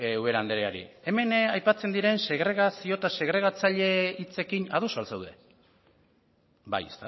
ubera andreari hemen aipatzen diren segregazio eta segregatzaile hitzekin ados al zaude bai